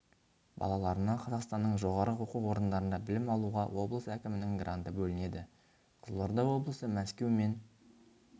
балаларына қазақстанның жоғарғы оқу орындарында білім алуға облыс әкімінің гранты бөлінеді қызылорда облысы мәскеу мен